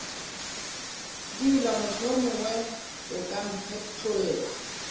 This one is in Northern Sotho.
dula mohlomongwe o ka mphetlolla